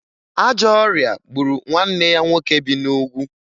Ajọ ọrịa gburu nwanne ya nwoke bi n'Ugwu